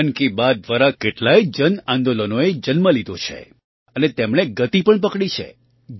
મન કી બાત દ્વારા કેટલાંય જન આંદોલનો એ જન્મ લીધો છે અને તેમણે ગતિ પણ પકડી છે